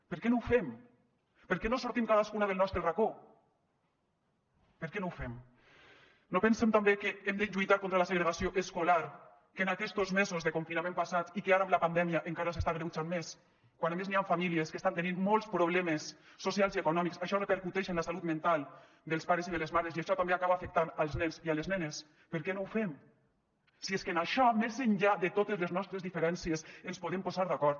per què no ho fem per què no sortim cadascuna del nostre racó per què no ho fem no pensem també que hem de lluitar contra la segregació escolar que en aquestos mesos de confinament passats i que ara amb la pandèmia encara s’està agreujant més quan a més n’hi han famílies que estan tenint molts problemes socials i econòmics i això repercuteix en la salut mental dels pares i de les mares i això també acaba afectant els nens i les nenes per què no ho fem si és que en això més enllà de totes les nostres diferències ens podem posar d’acord